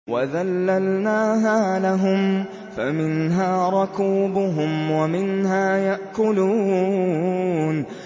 وَذَلَّلْنَاهَا لَهُمْ فَمِنْهَا رَكُوبُهُمْ وَمِنْهَا يَأْكُلُونَ